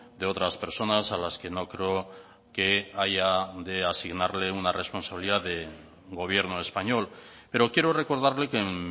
de otras personas a las que no creo que haya de asignarle una responsabilidad de gobierno español pero quiero recordarle que en